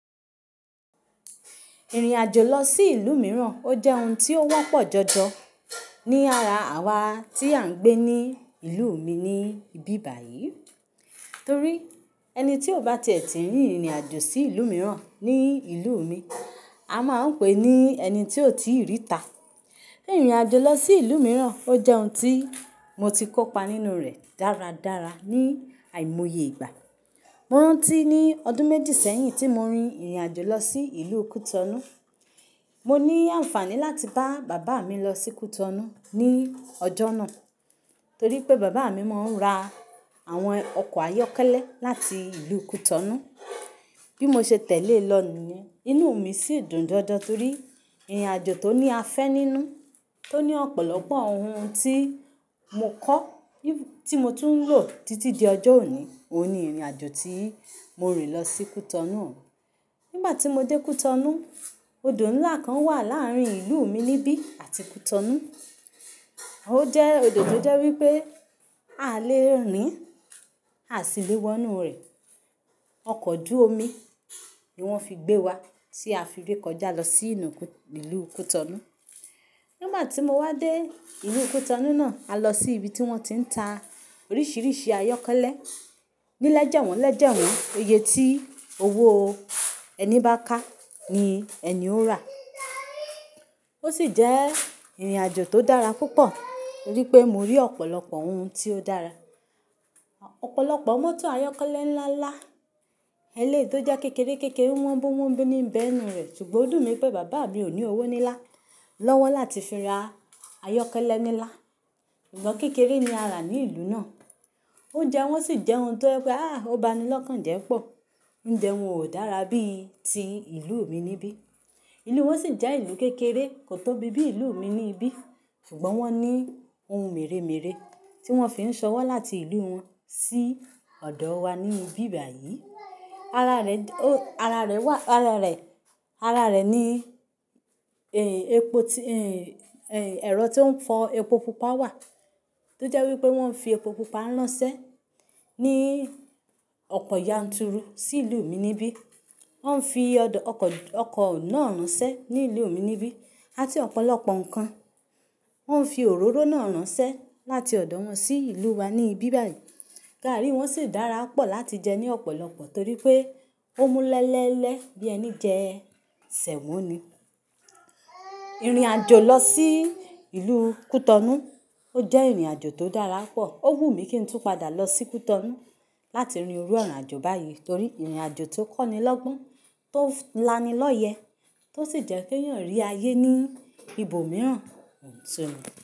Ìrìn àjò lọ sí ìlú mìíràn, ó jẹ́ ohun tí ó wọ́pọ̀ jọjọ ní ara àwa tí à ń gbé ní ìlú mi níbí báyìí. Torí ẹni tí ò bá tiẹ̀ tí rìn ìrìn àjò sí ìlú mìíràn ní ìlú mi, a máa ń pè ní ẹni tí ò tíì rí ìta. Ìrìn àjò lọ sí ìlú mìíràn ó jẹ́ ohun tí mo ti kópa nínú rẹ̀ dáradára ní àìmoye ìgbà. Mo rántí ní ọdún méjì sẹ́yìn tí mo rin ìrìn àjò lọ sí ìlú Cotonou. Mo ní àǹfàní láti bá bàbá mi lọ sí Cotonou ní ọjọ́ náà, torí pé bàbá mi máa ń ra àwọn ọkọ̀ ayọ́kẹ́lẹ́ láti ìlú Cotonou. Bí mo ṣe tẹ̀lé e lọ nu, inú mi sì dùn dandan torí ìrìn àjò tó ní afẹ́ nínú, tó ní ọ̀pọ̀lọpọ̀ ohun tí mo kọ́, tí mo tún ń lò títí di ọjọ́ òní. Óun ní ìrìn àjò tí mo rìn lọ sí Cotonou. Nígbà tí mo dé Cotonou, odò ńlá kan wà láàárín ìlú mi níbí àti Cotonou. Ó jẹ́ odò tó jẹ́ wí pé a lè rìn, a sì léwọ́ inú rẹ̀. Ọkọ̀ ojú omi ni wọ́n fi gbé wa tí a fi rékọjá lọ sí inú ìlú Cotonou. Nígbà tí mo wá dé ilú Cotonou náà, a lọ sí ibi tí wọ́n ti ń ta oríṣiríṣi ayọ́kẹ́lẹ́. Ní lẹ́jẹ̀wọ́n lẹ́jẹ̀wọ́, iye tí owó ẹni bá ká ní ẹni ó rà. Ó sì jẹ́ ìrìn àjò tó dára púpọ̀, torí pé mo rí ọ̀pọ̀lọpọ̀ ohun tí ó dára. Ọ̀pọ̀lọpọ̀ mọ́tò ayọ́kẹ́lẹ́ ńlá ńlá, elé tó jẹ́ kékeré kérére, wọ́nbo wọ́nbo níbẹ́ nurẹ̀, ṣùgbọ́n o dùn mí pé bàbá mi ò ní owó nilá lọ́wọ́ láti fi ra ayọ́kẹ́lẹ́ nílá. Ikán kékeré ni a rà ní ìlú náà. Oúnjẹ wọn sì jẹ́ ohun tó jẹ pe, "Ah! Ó ba ni lọ́kàn jẹ́ pọ̀." Oúnjẹ wọn ò dára bí ti ìlú mi níbí. Ìlú wọn sì jẹ́ ìlú kékeré, kò tóbi bí ìlú mi níbí, ṣùgbọ́n wọ́n ní ohun mèremère tí wọ́n fi ń sọ wọ́ láti ìlú wọn sí ọ̀dọ̀ wa níbí báyìí. Ara rẹ̀, o, ara rẹ̀ wà, ara rẹ̀, ara rẹ̀ ní, ẹ, epo tí, ẹ, ẹ, ẹ̀rọ tó ń fọ epo pupa wà, tó jẹ́ wí pé wọ́n fi epo pupa ránṣẹ́ ní ọ̀pọ̀ yanturu sí ìlú mi níbí. Wọ́n ń fi ọkọ̀, ọkọ̀ náà ránṣẹ́ ní ìlú mi níbí, àti ọ̀pọ̀lọpọ̀ nǹkan. Wọ́n ń fi òróró náà ránṣẹ́ láti ọ̀dọ̀ wọn sí ìlú wa níbí báyìí. Gààrí wọn sì dára pọ̀ láti jẹ ní ọ̀pọ̀lọpọ̀ torí pé ó mú lelele bí ẹni jẹ ṣẹ̀mọ̀ ni. Ìrìn àjò lọ sí ìlú Cotonou ó jẹ́ ìrìn àjò tó dára pọ̀. Ó wùmí kí n tún padà lọ sí Cotonou láti rin irú ọ̀nà àjò báyìí torí ìrìn àjò tó kọ́ni lọ́gbọ́n, tó lánilọ́yẹ, tó sì jẹ́ kí èèyàn rí ayé ní ibo mìíràn.